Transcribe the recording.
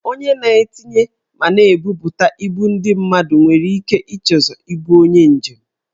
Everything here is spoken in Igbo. Onye na-etinye ma na-ebubuta ibu ndị mmadụ nwere ike ichezọ ibu onye njem.